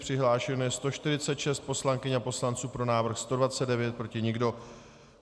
Přihlášeno je 146 poslankyň a poslanců, pro návrh 129, proti nikdo.